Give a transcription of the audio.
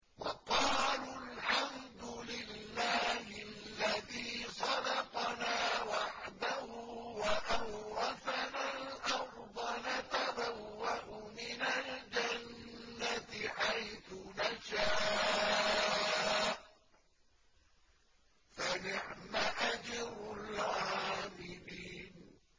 وَقَالُوا الْحَمْدُ لِلَّهِ الَّذِي صَدَقَنَا وَعْدَهُ وَأَوْرَثَنَا الْأَرْضَ نَتَبَوَّأُ مِنَ الْجَنَّةِ حَيْثُ نَشَاءُ ۖ فَنِعْمَ أَجْرُ الْعَامِلِينَ